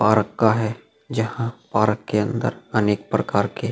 और कहे जहाँ पार्क के अंदर अनेक प्रकार के --